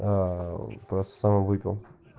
аа просто сам и выпил